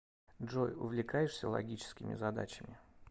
джой увлекаешься логическими задачами